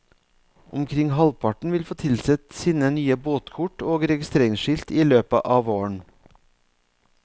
Omkring halvparten vil få tilsendt sine nye båtkort og registreringsskilt i løpet av våren.